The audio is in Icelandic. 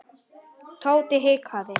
Tóti hikaði.